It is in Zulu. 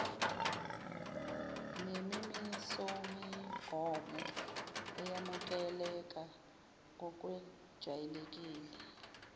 nemimisomigomo eyamukeleka ngokwejwayelekile